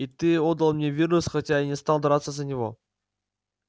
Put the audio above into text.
и ты отдал мне вирус хотя я не стал драться за него